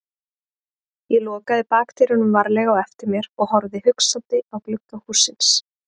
Ég lokaði bakdyrunum varlega á eftir mér og horfði hugsandi á glugga hússins.